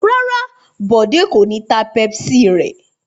Rárá, Bọ̀dé kò ní ta Pepsi rẹ̀.